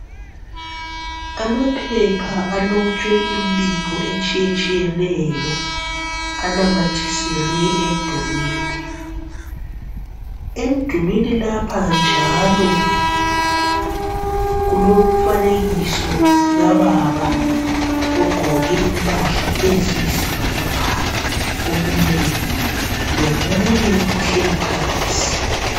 Amaphepha alotshwe imbiko etshiyetshiyeneyo anamathiselwe emdulwini . Emdulwini lapha njalo kulomfanekiso kababa ogqoke impahla eziyisibhakabhaka omileyo lomunye ohleli phansi.